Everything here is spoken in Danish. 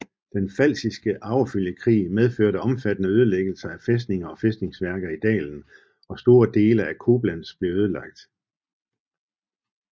Den Pfalziske Arvefølgekrig medførte omfattende ødelæggelser af fæstninger og fæstningsværker i dalen og store deler af Koblenz blev ødelagt